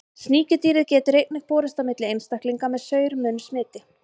Sníkjudýrið getur einnig borist á milli einstaklinga með saur-munn smiti.